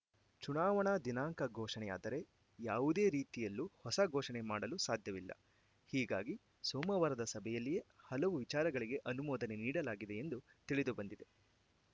ಚುನಾವಣಾ ದಿನಾಂಕ ಘೋಷಣೆಯಾದರೆ ಯಾವುದೇ ರೀತಿಯಲ್ಲೂ ಹೊಸ ಘೋಷಣೆ ಮಾಡಲು ಸಾಧ್ಯವಿಲ್ಲ ಹೀಗಾಗಿ ಸೋಮವಾರದ ಸಭೆಯಲ್ಲಿಯೇ ಹಲವು ವಿಚಾರಗಳಿಗೆ ಅನುಮೋದನೆ ನೀಡಲಾಗಿದೆ ಎಂದು ತಿಳಿದು ಬಂದಿದೆ